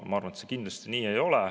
Ma arvan, et see kindlasti nii ei ole.